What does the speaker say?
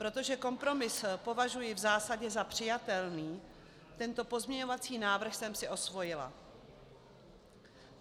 Protože kompromis považuji v zásadě za přijatelný, tento pozměňovací návrh jsem si osvojila.